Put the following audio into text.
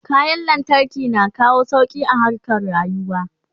kayan lantarki na kawo sauki a harkan rayuwa